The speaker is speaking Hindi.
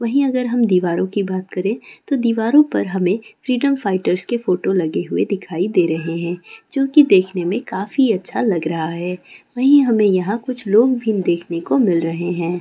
वहीं अगर हम दीवारों की बात करें तो दीवारों पर हमें फ्रीडम फाइटर के फोटो लगे हुए दिखाई दे रहे हैं जो कि देखने में काफी अच्छा लग रहा है वही हमें यहां कुछ लोग भी देखने को मिल रहे हैं।